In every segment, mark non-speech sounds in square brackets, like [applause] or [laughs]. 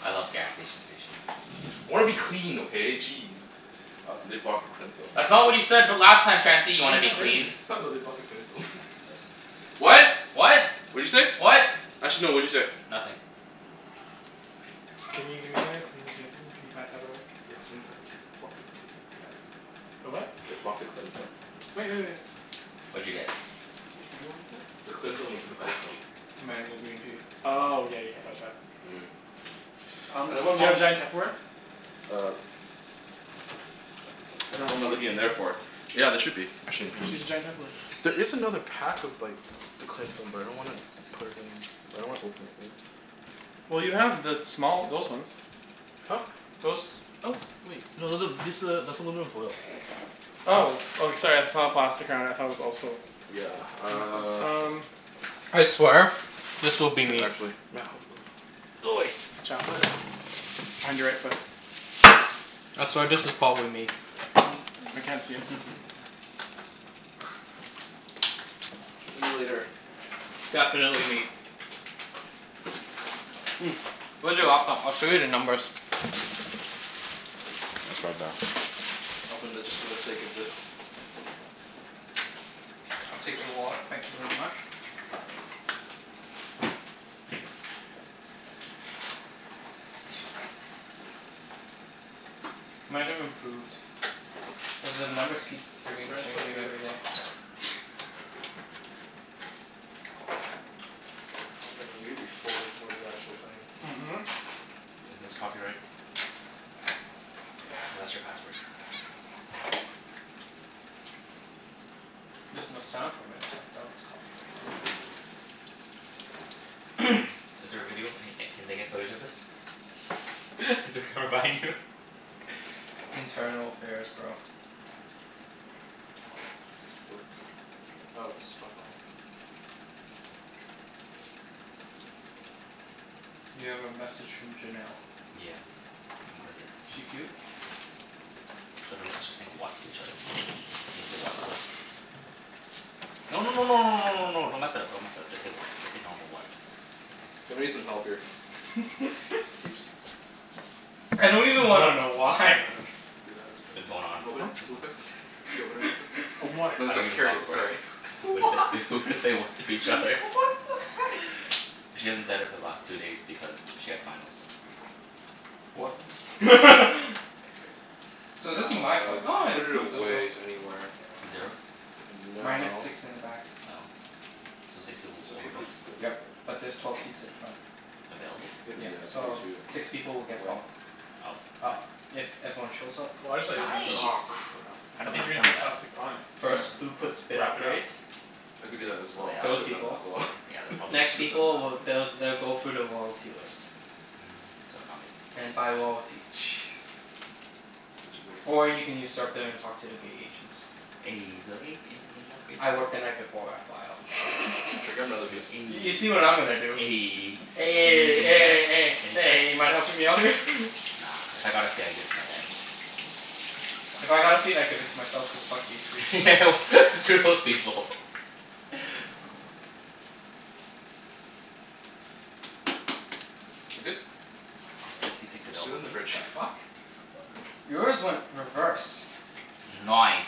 I love gas station sushi. I wanna be clean, okay? Jeez. Uh, they blocked the cling film? That's not what you said b- [laughs] last time, Chancey. You How wanna is be that clean. dirty? Ha, no, they blocked the cling film. [laughs] Messy person. What? What? What'd you say? Actually no, what'd you say? Nothing. Can you give me something to clean the table. Can you pack that away? [inaudible] The what? They blocked the cling film. Wait, wait, wait. What'd you get? What do you want me to do? The cling What'd film you is get at from the back. [noise] cocoa? Mango green tea. Oh, yeah, you can't touch that. Mm. Um I do don't want you have mom giant Tupperware? Uh Ap- ab- what am I looking in there for? [inaudible] Yeah, there should be, actually in Just use a here. giant Tupperware. There [noise] is another pack of like the cling film, but I don't want to put it in. I don't wanna open it yet. Well, you have the small, those ones. [noise] Huh? Those. Oh, wait. No, th- th- this a, that's aluminum foil. Oh. Oh, sorry. I just saw the plastic around it and thought it was also Yeah, Hmm, hmm, uh um [noise] I swear this will be Here me. actually. Mat, hold on Go away. Watch out. Behind your right foot. I swear this is pot with me. [noise] I can't see it, so [laughs] Talk to me later. Definitely me. Mm, where's your laptop? I'll show you the numbers. It's right there. Open the, just for the sake of this. [noise] I'll take your wallet. Thank you very much. Might have improved. Cuz the numbers keep This frigging bread is so changing good. every day. [laughs] [noise] [inaudible] you'll be full before the actual thing. Mhm. [noise] Isn't this copyright? [noise] Oh, that's your password. There's no sound from it so I doubt it's copyright. [noise] [noise] Is there a video? Any e- can they get footage of this? [laughs] Is it [noise] gonna [inaudible] you? [laughs] Internal affairs, bro. Does this work? Oh, it's stuck on. You have a message from Janelle. Yeah. You can click it. She cute? It's literally us just saying, "What?" to each other. Can you say, "What?" to her? [noise] No, no no no no no no no, don't mess it up, don't mess it up. Just say, "What?" Just say normal, "What?" K, thanks. Ja- I'm gonna need some help here. [laughs] Ibs? I don't even wanna What? know Can you why. uh, do that real It's quick? been going on for Open it Hmm? like, two real months. quick. Can you open it real quick? Open what? No, I so- don't even carry talk it, to her. sorry. [laughs] We Why? say [laughs] we say, [laughs] "What?" to each What other. [laughs] the heck? She hasn't said it for the last two days because she had finals. What? [laughs] K. So this is Now, my uh, flight. we can Ah, it put it improved a little. away s- anywhere. Zero? And Minus now six in the back. Oh. So six people b- It's okay if we overbooked? put it Yep. over [inaudible] But there's twelve seats at the front. Available? It is, Yep. yeah, it's way So, too six people will get wet. bumped. Up, ah Up. If everyone shows up. Well, I just thought you were gonna put Nice. Aw, it crap. How I did thought they you were gonna determine put that? plastic on it and First, then who puts Huh? bid wrap it up. upgrades. I could do Okay, that as so well. yeah I Those should have done obv- that people. as well. So, [laughs] yeah, that's probably [laughs] Next Should have done people that. w- they'll they'll go through the loyalty list. Mm, so not me. And by loyalty. Jeez. Such a waste. Or you can usurp them and talk to the [inaudible] gate agents. Eh, you'll be like, "Any any upgrades" I work the night [inaudible] before I fly out. Should I grab another piece? [laughs] You'll be You see like, what I'm "Eh" gonna do. Eh Eh, Eh, any eh, eh, chance, eh, any you mind helping chance? me out here? [laughs] Nah, if I got a seat I'd give it to my dad. If I got a seat I'd give it to myself cuz fuck these free. [laughs] Yeah, well, screw those people. [laughs] Za- good? There's sixty six Just sit it available in for the me? fridge. The fuck? Yours went reverse. No ice.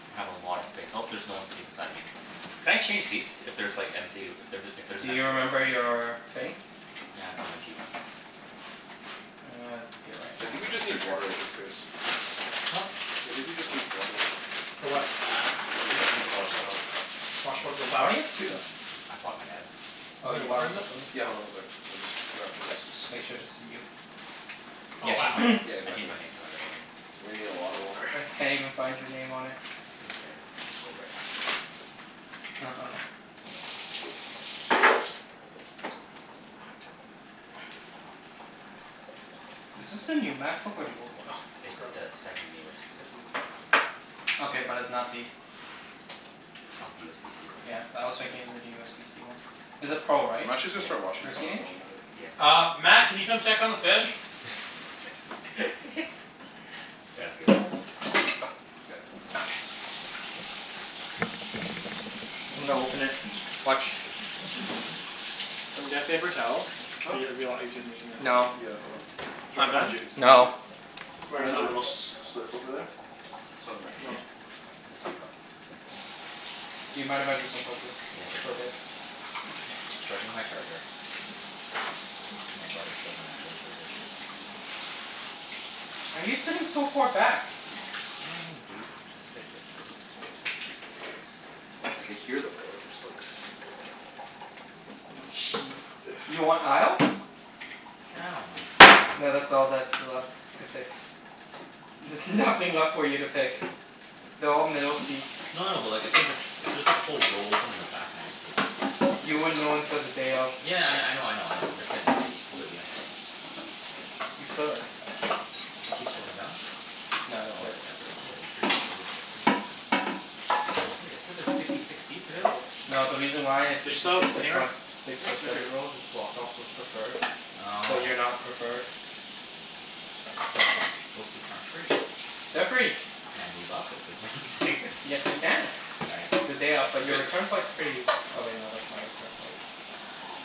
I'm gonna have a lot of space. I hope there's no one sitting beside me. Can I change seats if there's like empty, if th- if there's Do empty you remember your thing? Yeah, it's on my Gmail. Uh, here, right? I think Just we yeah, just just search need Air water at this Canada. case. Huh? I think we just need water. For what? Ah s- I To think it w- should be the to wash second that one. off. Wash what? The Yeah. Why do flour? you have Yeah. two? Cuz I bought my dad's. Oh, Isn't there you bought water 'em in this? separately? Yeah, hold Yeah. on one sec. I'm just wrapping this. Just make sure this is [inaudible] you. Oh, Yeah, I changed my wow. name. Yeah, [noise] I changed exactly. my name to my middle name. You're gonna need a lot of water. I can't even find your name on it. It was there. You scrolled right past it. Oh, okay. Is this the new MacBook, or the old one? Oh, it's It's the gross. second newest. This is disgusting. Okay, but it's not the [laughs] It's not the USBC one. Yeah, I was thinking is it a USBC one. Is a Pro, right? I'm actually just Yeah. gonna start washing this Thirteen stuff while inch? I'm at it. Yeah. Uh, Mat, can you come check on the fish? [laughs] Yeah, see you later. Yep. Okay. I'm gonna open it. Watch. Do you have Ooh. paper towel? Huh? Be, it'd be a lot easier than using this. No. Yeah, hold on. It's It's right not behind you. done? It's behind you. No. Right in the little [inaudible] s- slip over there. Beside the microwave. Oh. [laughs] Do you mind if I just unplug this Yeah, sure. for a bit? Okay. Just charging my charger. My brother stole my actual charger. Why are you sitting so far back? I dunno, dude. I just picked it. I can hear the oil just like sizzling. Sh- [noise] you want aisle? I don't mind. No, that's all that's left to pick. There's nothing left for you to pick. They're all middle seats. No no, but like, if there's a s- if there's like a whole row open in the back, can I just take it? You wouldn't know until the day of. Yeah, I I know, I know, I know. I'm just saying like if it's completely empty? You could. Keep scrolling down. No, that's Oh, it. wait, that's it? Oh wait, it's pretty booked over, it's pretty booked, then. Hey, they said there's sixty six seats available? No, the reason why it's There's sixty soap six, the anywhere? front f- six Hmm? or Right here. seven rows is blocked off for preferred. So, you're Oh. not preferred. But those seats aren't free? They're free. Can I move up if there's no one sitting Yes, you there? can. [laughs] All right. The day of. But You your good? return flight's pretty Oh wait, no, that's my return flight.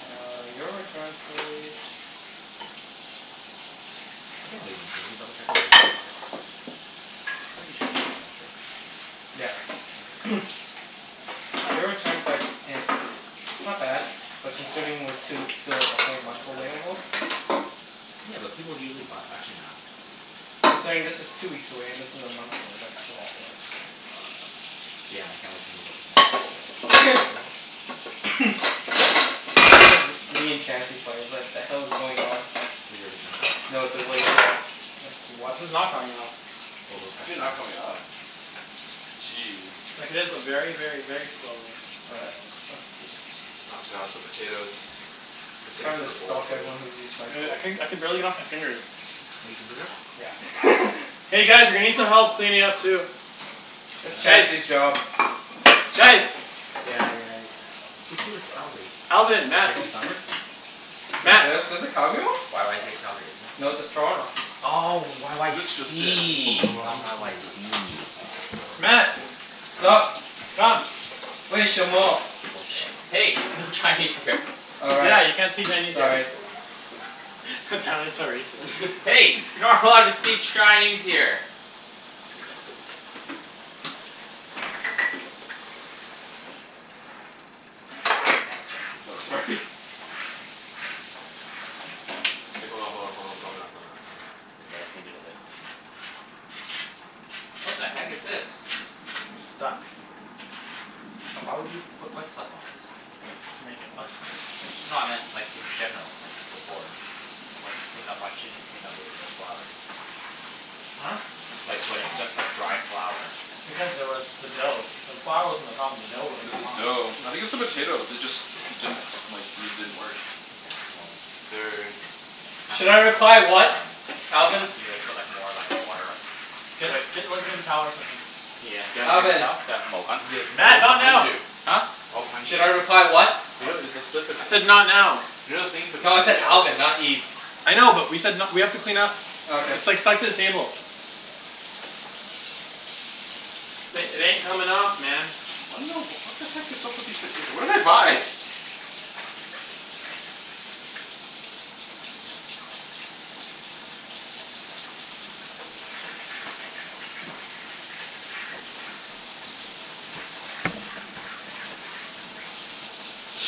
Uh, your return flight I think I'm leaving, can we can you double check if I'm leaving on the sixth? Pretty sure I'm leaving on the sixth. Yeah. Okay. [noise] Your return flight's [noise] not bad. But considering we're two, still like a whole month away almost? Yeah, but people usually buy, actually, nah. Considering this is two weeks away and this is a month away, that's a lot worse. Damn, I can't wait to move up with my dad. Be like "Yeah, wanna go [laughs] up?" [noise] And then there's me and Chancey's flight. It's like the hell is going on? For your return flight? No, the way there. Like, This what is not the f- coming off. Is Overbooked it not aff. coming off? Jeez. Like, it is, but very, very, very slowly. All right, let's see. Oh god, the potatoes. They're sticking Time to to the bowl, stalk too. everyone who's used my You know what? I codes. couldn- I could barely get it off my fingers. Y- oh, you can do that? Yeah. [laughs] Hey guys, we need some help cleaning up, too. That's Ah Guys! Chancey's job. That's Chancey Guys! Yeah, yeah. Who flew to Calgary? Alvin. For Mat. chasing summers? Wait, Mat! the- there's a Calgary one? YYZ is Calgary, isn't it? No, that's Toronto. Oh, This just in. YYC, not [inaudible] YYZ. Mat! Sup? Come! [inaudible] [inaudible] Hey! No Chinese here. Oh, right. Yeah, you can't say Chinese here. Sorry. That sounded so racist. Hey! You're not allowed to speak Chinese here! Thanks, No, Chancey. sorry. K, hold on, hold on, hold on, calm down, calm down, calm down. It's okay, I just need it a bit. What the heck is this? It's stuck. Why would you put wet stuff on it? To make it less stuck. No, I meant like, in general. Like, before. Like, when you just clean up, why didn't you just clean up with n- flour? Huh? Like, when it's just like dry flour. Because there was the dough. The flour wasn't the problem. The dough wouldn't It's come the off. dough. I think it's the potatoes. They just didn't, like, these didn't work. Okay, well. They're already in. This kinda Should I looks like a one reply, person "What?" job. Alvin? Unless we like, put like, more like, water Get Wait get like a paper towel or something. Yeah, do you have a paper Alvin? towel? Yeah, [inaudible] the Mat, towel's not behind now! you. Huh? All behind Should you. I reply, "What?" You know, Oh. it's the slip it I said not now. You know the thing in No, I between, yeah, said you're Alvin, right not there. Ibs. I know, but we said n- we have to clean up. Okay. It's like set the table. Uh Th- it ain't coming off, man. I don't know. What the heck is up with these potato? What did I buy?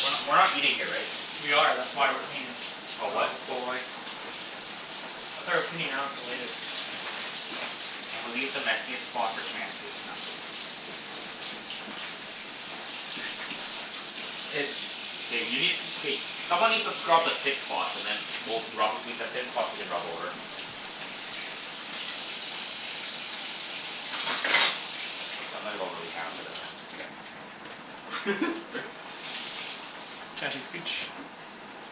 We're not we're not eating here, right? We are. That's Yeah, you why we're are. cleaning. Oh, what? Oh boy. That's why we're cleaning now instead of later. Can we leave the messiest spot for Chancey? No, I'm kidding. It's K, you need, k someone needs to scrub the thick spots and then we'll can rub, we, the thin spots we can rub over. K, I'm gonna go really [inaudible] for this one. [laughs] Sorry. Chancey, scooch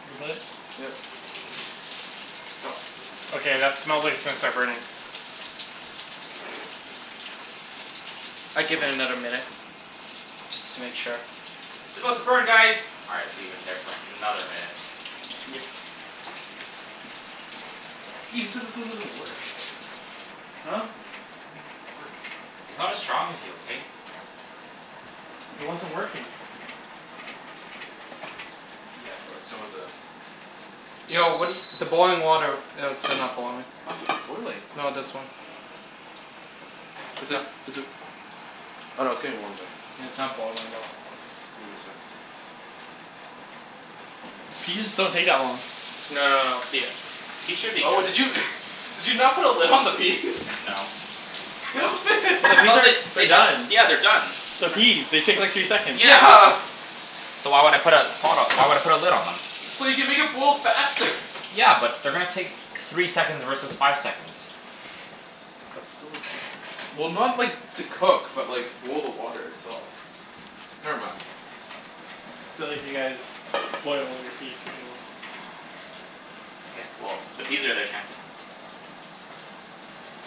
your butt. Yeah. No. Okay, that smells like it's gonna start burning. I'd give it another minute. Just to make sure. It's about to burn guys! All right, let's leave it in there for another minute. Yep. Ibs, you said this one doesn't work. Huh? Said this thing doesn't work. He's not as strong as you, okay? It wasn't working. Yeah, for like, some of the Yo, what do [inaudible] y- the boiling water it is still not boiling. What? Boiling. No, this one. Is it is it Oh no, it's getting warm, though. Yeah, it's not boiling though. Give it a sec. Peas don't take that long. No no no, the Peas should be Oh, did good. you [laughs] did you not put a lid on the peas? No. The, I [laughs] thought that [inaudible] they're they uh, done. yeah, they're done. They're They're tr- peas. They take like three seconds. Yeah. Yeah. So why would I put a pot o- why would I put a lid on them? So you can make it boil faster. Yeah, but they're gonna take three seconds versus five seconds. That's still a difference. Well, not like, to cook, but like to boil the water itself. Never mind. Feel like you guys boil all your peas for too long. K, well, the peas are there, Chancey.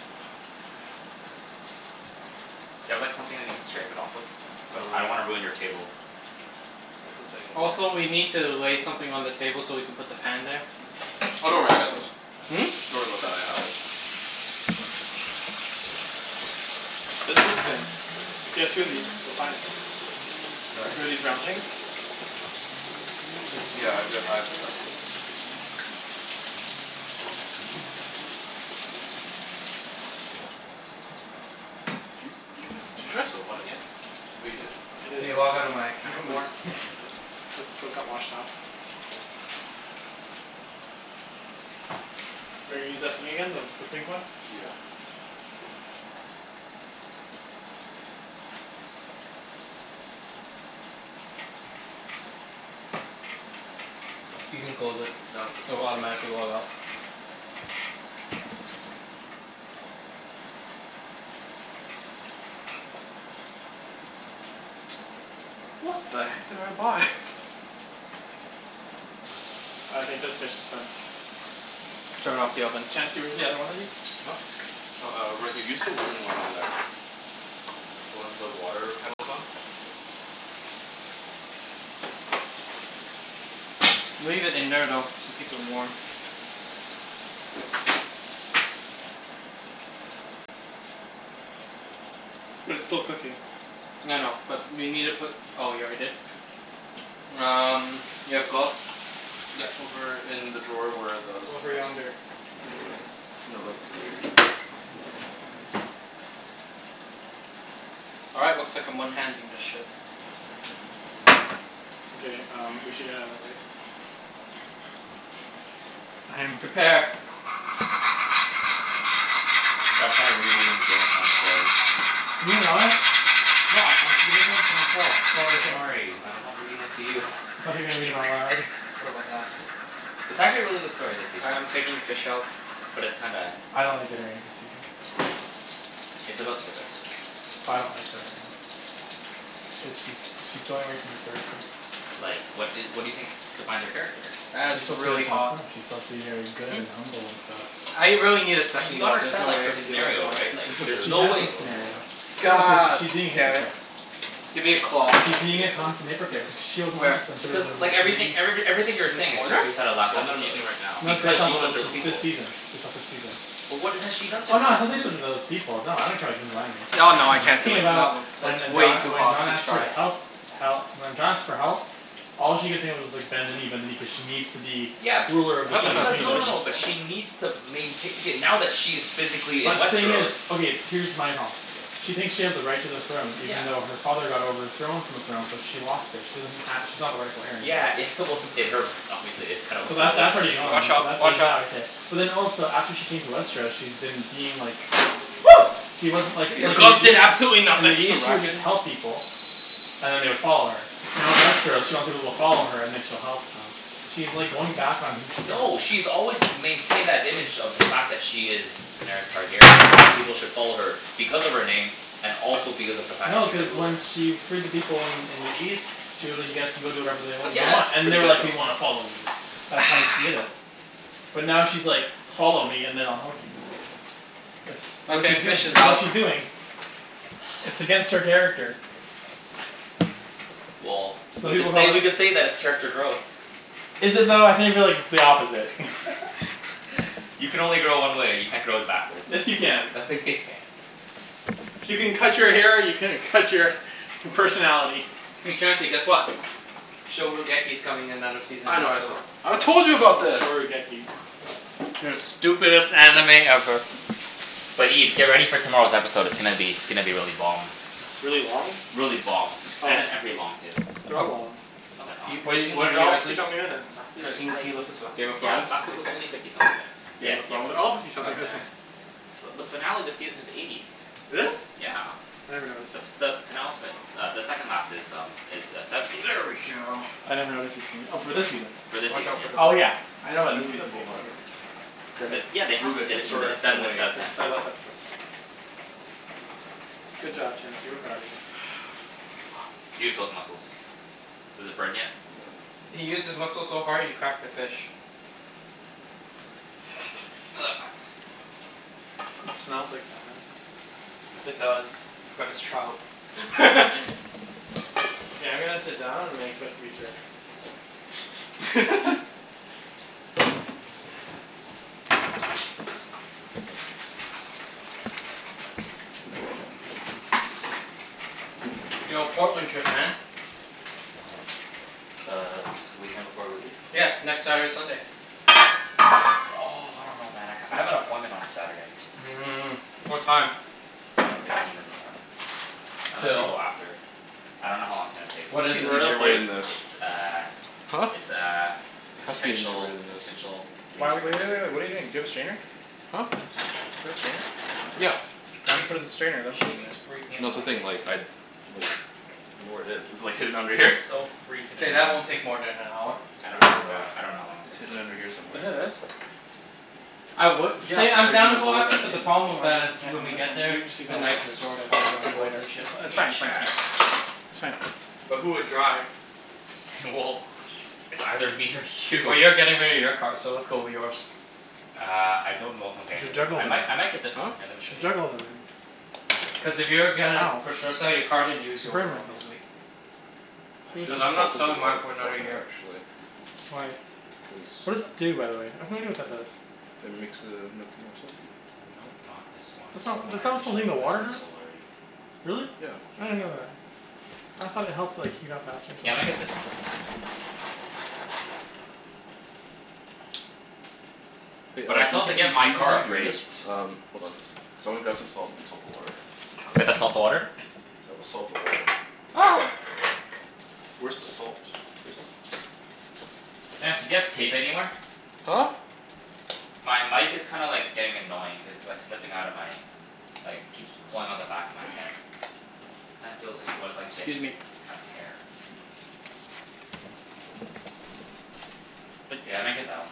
Oh god, help, man. Do you have like, something that you can scrape it off with? But I don't wanna Uh ruin your table. See, that's the thing. Also, We can't we need to lay something on the table so we can put the pan there. Oh, don't worry. I True. got those. Hmm? Don't worry about that. I have it. There's this thing. If you have two of these, we're fine. Sorry? Two of these round things? Yeah, I re- I've [inaudible] Did you did you put, did you try soap on it yet? Oh, you did? [noise] I did. Can you log outta my You account have more. please? Yeah, [laughs] sure. Yeah. Cuz the soap got washed off. Are you gonna use that thing again? The the pink [noise] one? Yeah. This one, You can too? close it. No, it's not It'll working. automatically log out. [inaudible] What the heck did I buy? [noise] I think this fish is done. Turn off the oven. Chancey, where's the other one of these? Huh? Oh, uh, right here. Use the wooden one over there. The one the water kettle's on. Leave it in there, though, to keep it warm. But it's still cooking. I know. But you need to put, oh, you already did? Um, you have gloves? Yeah, over in the drawer where the other stuff Over was. yonder. No, like here. All right, looks like I'm one-handing this ship. Okay um, we should get outta the way. [inaudible] Prepare. Cha- I'm kinda rereading the Game of Thrones spoilers. Can you not? No, I'm I'm reading them to myself. Oh, Don't okay. worry. Like, I'm not reading them to you. I thought you were gonna read them out loud. What about that? It's What's up? actually a really good story this All season. right, I'm taking the fish out. But it's kinda I don't like [inaudible] new season. It's about to get better. I don't like her right now. Why? Cuz she's she's going away from her character. Like, what i- what do you think defines her character? That is She's supposed to be like really John hot. Snow. She's supposed to be very good Mhm. and humble, and stuff. I really need a Y- second you glove. There's understand no like way I her can do it with scenario one right? hand. Like, [laughs] There there's She isn't no a has no way second glove. scenario. No, cuz God she's being a damn it. hypocrite. Give me a cloth. She's being Yeah, a I use constant this w- use hypocrite this but one. she wasn't like Where? this when she The was one Becau- that I'm in like, holding right now. everythi- [inaudible] every everything you're In saying is just corner? based out of last The one that I'm episode. using right now. No, it's based I'll Because off she pull out a of killed wh- those different this one. this people. season. It's based off this season. But what has she done Oh this no, it's [inaudible] nothing to do season? with those people. No, I don't care [inaudible] No, no, I'm I can't do talking it. Not about w- When it's uh way John, too when John hot to asked her to try. help hel- when John asks for help all she could think of was like, [noise] bend the knee, bend the My knee, cuz she god. needs to be Yeah. ruler of the That seven smells Because, no no [inaudible] no, delicious kingdoms. but though. she needs to maintai- Okay, now that she is physically in But the thing Westeros is, okay, here's my problem. Okay. She thinks she has the right to the throne Yeah. even though her father got overthrown from the throne. So she lost it. She doesn't ha- she's not the rightful heir Yeah, anymore. yeah, well, in her mind obviously it kinda So, works a that little that's already differently. [laughs] gone. Watch So out. that, there's Watch that out. right there. But then also, after she came to Westeros she's been being like Woo! she doesn't like, Your like in the gloves did East absolutely in the nothing! Push the East, she would rack just in. help people. And then they would follow her. Now in Westeros, she wants people to follow her and then she'll help them. She's like, going back on who she is. No. She's always maintained that image of the fact that she is Daenerys Targaryen, and that people should follow her because of her name, and also because of the fact that No, she's a cuz when ruler. she freed the people in in the East she was like, you guys can go do whatever they That you smells Yeah. want. And pretty they're good like, "We though. wanna follow you." That's Ah. how she did it. But now she's like "Follow Fuck. me and then I'll help you." It's s- what Okay, she's doing. fish is It's what out. she's doing. It's against her [noise] character. Well, Some we people could call say, that we could say that it's character growth. Is it though? I think that it's the opposite. [laughs] [laughs] You can only grow one way. You can't grow backwards. Yes, you can. No, you can't. If you can cut your hair you can cut your personality. Hey Chancey, guess what? [inaudible] coming another season I in know, I saw. October. I told you about this! [inaudible] The stupidest anime ever. But Ibs, get ready for tomorrow's episode. It's gonna be, it's gonna be really bomb. Really long? Really bomb. Oh And a yeah. and pretty long, too. They're A- all long. No they're not. Can you, What guys, a- can you what are lift They're you that all guys up fifty please? something minutes. Last week's Guys, can was you can like, you lift this up? last Game of week's, yeah, Thrones? last week was only [inaudible] fifty something minutes. Yeah, Game of Game of Thrones? They're Game all of Thrones. fifty God something damn. missants. But the finale of the season is eighty. It is? Yeah. I never noticed. The s- the penultimate uh, the second last is um is uh, seventy. There we go. I never noticed her singing. Oh, for this season? For this Watch season, out for the yeah. Oh bowl. yeah, I know Can about you this move that season bowl, being by the longer. way? Cuz Cuz it's it's, yeah, they have, Move it, it's it's like, it's move sev- shorter it it's seven away. instead Cuz of ten. it's their last episode, Yeah. so Good job, Chancey. We're proud of you. [noise] Fuck. Use those muscles. Does it burn yet? No. He used his muscles so hard he cracked the fish. [noise] It smells like salmon. It No. does. But it's trout. [laughs] Okay, I'm gonna sit down and I expect to be served. [laughs] [laughs] [laughs] Yo, Portland trip, man. When? The s- the weekend before we leave? Yeah. Next Saturday, Sunday. Oh, I don't know, man. I k- I have an appointment on the Saturday. Mm. What time? Ten fifteen in the morning. Unless we Till? go after. I dunno how long it's gonna take. There What must is be it, an Where are though? the easier way than plates? this. It's uh Huh? it's uh Has to be an easier way potential than this. potential Why w- laser w- hair w- wait, wait. surgery. What are you doing? Do you have a strainer? Huh? Do you have a strainer? Cuz, Yeah. it's Why don't you put it freaking, in the strainer and then put it in there? shaving's freaking No, that's the annoying, thing, like man. I like don't know where it is. It's like, hidden under here. It's so freaking K, that annoying. won't take more than an hour. I I'm don't I gonna put don't it know. back. I don't know how long it's It's gonna hidden take. under here Isn't it somewhere. this? I would Yeah, say but I'm how are you down to gonna go lower after, that but the in? problem Oh, with I that is guess you can't when do we this get one? We there, can just use the that one Nike to d- store's probably to all do it closed later. and Ju- shit. We it's can fine, it's fine, it's check. fine. It's fine. But who would drive? [laughs] Well, it's either me or Well, you. you're getting rid of your car, so let's go with yours. Uh, I don't know if I'm You getting should rid of it. juggle I might them. I might get this one. Huh? Here, let me You show should you. juggle them in. Cuz if you're gonna Ow. for sure sell your car, then use I yours burned myself. obviously. I should Cuz have I'm [inaudible] not salted the selling mine water for another beforehand, year. actually. Why? Cuz What does it do, by the way? [inaudible] what that does. It makes the gnocchi more salty. Nope, not this one. This It's is the not one I already showed you. But this one's [inaudible] sold already. Really? Yeah. I didn't know that. I thought it helped like, heat up faster or Yeah, I might something. get this one. Hey, But uh I can still you have to continu- get my can you car continue doing appraised. this? Um, hold on. Cuz I wanna grab some salt and salt the water. We have to salt the water? [inaudible] Cuz I will salt the water. Ah! Where's the salt? Here's the salt. Chancey, do you have tape anywhere? Huh? My mic is kinda like, getting annoying cuz it's like, slipping outta my like, it keeps pulling on the back of my head. [noise] Kinda feels like what it's like to get, Excuse me. have hair. Yeah, I might [noise] get that one.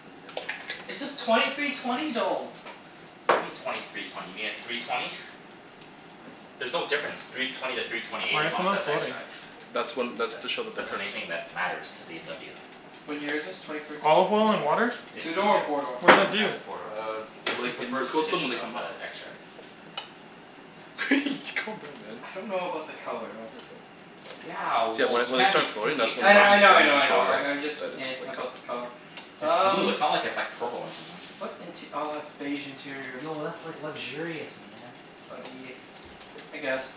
[inaudible] It says twenty three twenty, though. What do you mean twenty three twenty? You mean a three twenty? There's no difference three twenty to three twenty Why eight, are as long some as it of has them floating? xDrive. That's when, that's That to show that they're that's the main cooked. thing that matters to BMW. What year is this? Twenty fourteen? Olive oil in Yeah. water? It's Two the door or Yeah. four door? What does that Uh, do? four door. Uh, The it like, is the it l- first coats them when edition they of come the up. xDrive. [laughs] Calm down, man. I don't know about the color though. Careful. Yeah, See that well, when you when they can't be start floating, picky if that's you're I when kn- buying like, I know I a that's know to used I show know, car. like, I'm just that it's [noise] like, about cooked. the color. It's blue. Um It's not like it's like purple or something. What int- ah, it's beige interior. Yo, that's like luxurious, man. But eh, I guess.